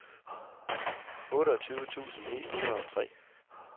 otteogtyve tusind ni hundrede og tre